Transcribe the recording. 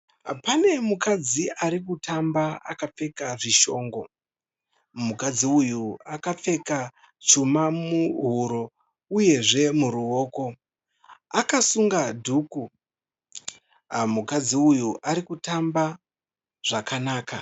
Pane mukadzi ari kutamba akapfeka zvishongo, mukadzi uyu akapfeka chuma muhuro uyezve muruoko, akasunga dhuku, mukadzi uyu ari kutamba zvakanaka.